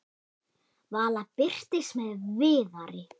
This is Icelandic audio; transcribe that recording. Vala birtist með Viðari.